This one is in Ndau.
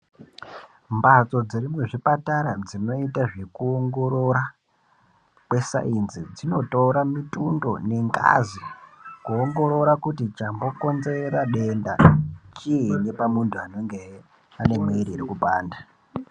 Mhatso dziri muzvipatara dzinoita zvekuongorora kwesainzi dzinotora mutundo nengazi Kuongorora kuti chambokomzera denda chiini pamuntu anenge ei ane mwiri iri kupanda.